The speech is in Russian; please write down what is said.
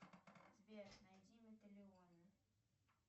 сбер найди металионы